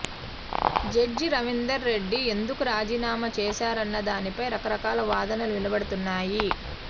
judge Ravinder Reddy ఎందుకు రాజీనామా చేశారన్నదానిపై రకరకాల వాదనలు వినబడుతున్నాయి